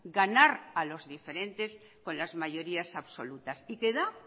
ganar a los diferentes con las mayorías absolutas y que da